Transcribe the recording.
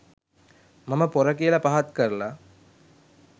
මම පොර කියල පහත් කරලා